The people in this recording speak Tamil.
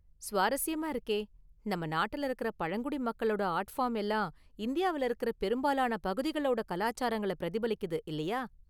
சுவாரஸ்யமாக இருக்கே! நம்ம நாட்டுல இருக்குற பழங்குடி மக்களோட ஆர்ட் ஃபார்ம் எல்லாம் இந்தியாவுல இருக்குற பெரும்பாலான பகுதிகளோட கலாசாரங்கள பிரதிபலிக்குது, இல்லியா?